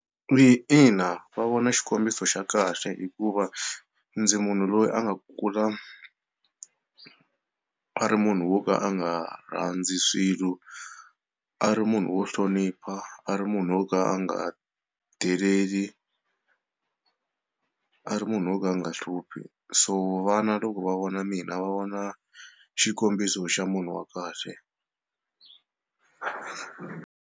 I ina, va vona xikombiso xa kahle hikuva ndzi munhu loyi a nga kula a ri munhu wo ka a nga rhandzi swilo a ri munhu wo hlonipha a ri munhu wo ka a nga deleli a ri munhu wo ka a nga hluphi so vana loko va vona mina va vona xikombiso xa munhu wa kahle.